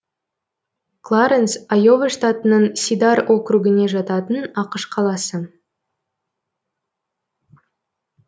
кларэнс айова штатының сидар округіне жататын ақш қаласы